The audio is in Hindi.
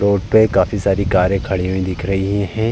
रोड पे काफी सारी कारे खड़ी हुई दिख रही हैं।